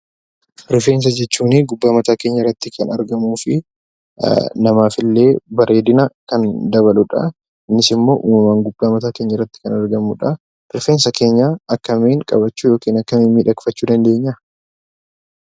Rifeensa jechuun gubbaa mataa keenyaa irratti kan argamu fi namaaf bareedina kan dabaludha. Innis immoo uummamumaan gubbaa mataa keenyaa irratti kan argamudha. Rifeensa keenya akkamiin qabachuu fi kunuunsachuu dandeenyaa?